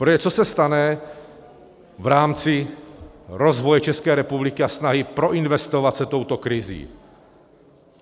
Protože co se stane v rámci rozvoje České republiky a snahy proinvestovat se touto krizí?